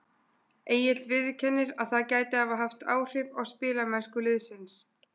Egill viðurkennir að það gæti hafa haft áhrif á spilamennsku liðsins.